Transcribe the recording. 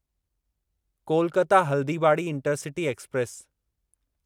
Kolkata Haldibari intercity express